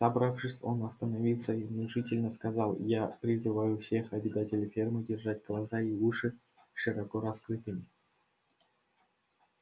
собравшись он остановился и внушительно сказал я призываю всех обитателей фермы держать глаза и уши широко раскрытыми